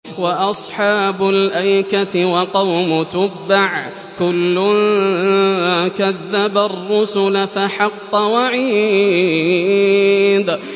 وَأَصْحَابُ الْأَيْكَةِ وَقَوْمُ تُبَّعٍ ۚ كُلٌّ كَذَّبَ الرُّسُلَ فَحَقَّ وَعِيدِ